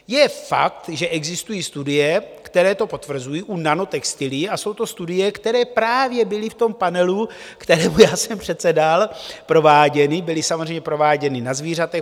Je fakt, že existují studie, které to potvrzují u nanotextilií, a jsou to studie, které právě byly v tom panelu, kterému já jsem předsedal, prováděny, byly samozřejmě prováděny na zvířatech.